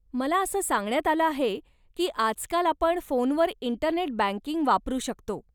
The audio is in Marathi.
मला असं सांगण्यात आलं आहे की आजकाल आपण फोनवर इंटरनेट बँकिंग वापरू शकतो.